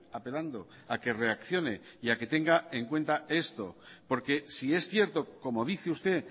apelando a que reaccione y a que tenga en cuenta esto porque si es cierto como dice usted